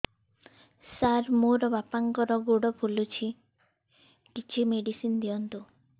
ସାର ମୋର ବାପାଙ୍କର ଗୋଡ ଫୁଲୁଛି କିଛି ମେଡିସିନ ଦିଅନ୍ତୁ